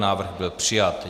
Návrh byl přijat.